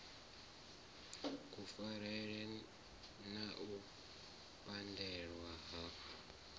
kufarele na u pandelwa ha